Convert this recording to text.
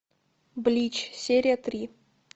блич серия три